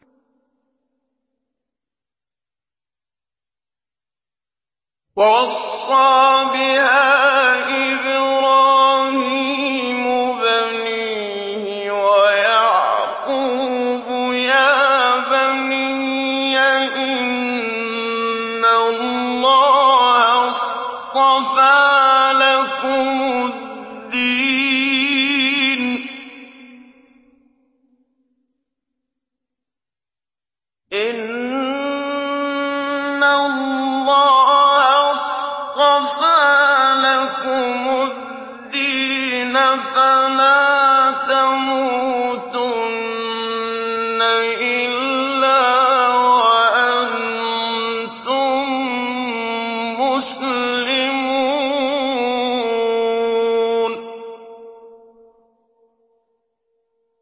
وَوَصَّىٰ بِهَا إِبْرَاهِيمُ بَنِيهِ وَيَعْقُوبُ يَا بَنِيَّ إِنَّ اللَّهَ اصْطَفَىٰ لَكُمُ الدِّينَ فَلَا تَمُوتُنَّ إِلَّا وَأَنتُم مُّسْلِمُونَ